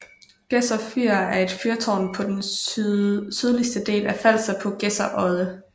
Gedser Fyr er et fyrtårn på den sydligste del af Falster på Gedser Odde